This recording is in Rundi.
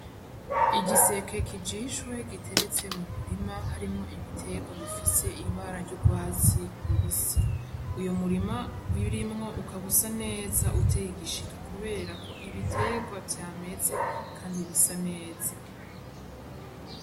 Igiseke kijishwe giteretse mu murima harimwo ibitegwa bifise ibara ry'ugwatsi rubisi, uyo murima birimwo ukaba usa neza uteye igishika kubera ko ibitegwa vyameze kandi bisa neza.